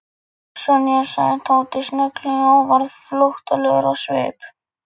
Sonja sagði Tóti snögglega og varð flóttalegur á svip.